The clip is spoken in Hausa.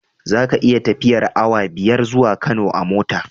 Zaka iya tafiyar awa biyar zuwa Kano a mota